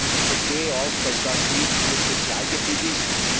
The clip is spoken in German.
Ich verstehe auch, dass das nicht Ihr Spezialgebiet ist.